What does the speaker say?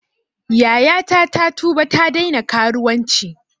Yayata ta tuba ta daina karuwanci